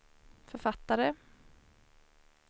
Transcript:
författare